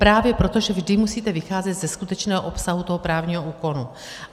Právě proto, že vždy musíte vycházet ze skutečného obsahu toho právního úkonu.